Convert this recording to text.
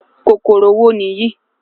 kòkòrò wo niyi?